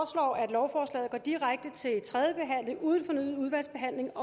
lovforslaget går direkte til tredje behandling uden fornyet udvalgsbehandling